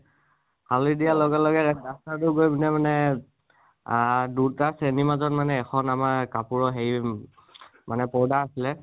হাউলী দিয়াৰ লগে লগে duster টো গৈ পিনে মানে অ দুটা শ্ৰেণীৰ মাজত মানে এখন আমাৰ কাপুৰ হেৰি মানে পৰ্দা আছিলে